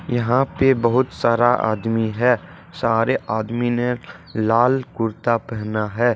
यहां पे बहुत सारा आदमी है सारे आदमी ने लाल कुर्ता पहना है।